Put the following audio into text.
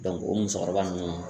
o musokɔrɔba nunnu.